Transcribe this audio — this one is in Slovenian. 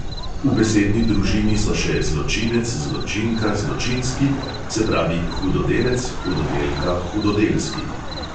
V besedni družini so še zločinec, zločinka, zločinski, se pravi hudodelec, hudodelka, hudodelski.